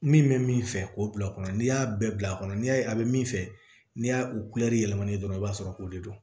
Min bɛ min fɛ k'o bila o kɔnɔ n'i y'a bɛɛ bila a kɔnɔ n'i y'a ye a bɛ min fɛ n'i y'a u yɛlɛma dɔrɔn i b'a sɔrɔ o de don